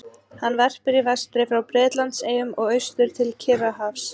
Hann verpir í vestri frá Bretlandseyjum og austur til Kyrrahafs.